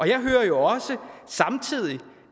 jeg hører jo også samtidig